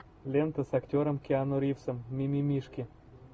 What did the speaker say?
лента с актером киану ривзом мимимишки